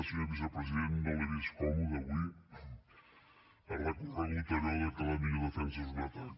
senyor vicepresident no l’he vist còmode avui ha recorregut a allò que la millor defensa és un atac